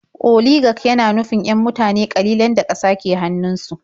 Oligak yana nufin 'yan mutane ƙalilan da ƙasa ke hannunsu.